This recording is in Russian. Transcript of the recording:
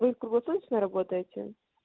вы круглосуточно работаете